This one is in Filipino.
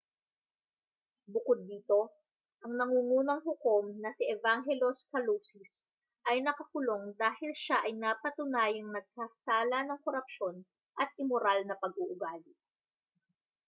bukod dito ang nangungunang hukom na si evangelos kalousis ay nakakulong dahil siya ay napatunayang nagkasala ng korupsyon at imoral na pag-uugali